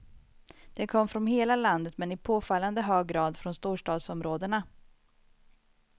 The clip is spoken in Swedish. De kom från hela landet men i påfallande hög grad från storstadsområdena.